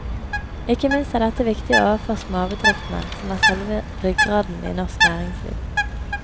Ikke minst er dette viktig overfor småbedriftene, som er selve ryggraden i norsk næringsliv.